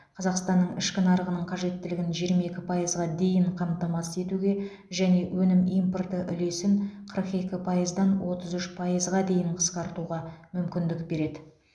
қазақстанның ішкі нарығының қажеттілігін жиырма екі пайызға дейін қамтамасыз етуге және өнім импорты үлесін қырық екі пайыздан отыз үш пайызға дейін қысқартуға мүмкіндік береді